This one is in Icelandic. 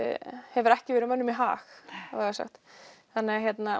hefur ekki verið mönnum í hag vægast sagt þannig að